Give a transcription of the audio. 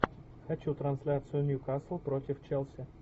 хочу трансляцию ньюкасл против челси